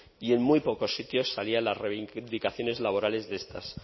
y en muy pocos sitios salían las reivindicaciones laborales de estas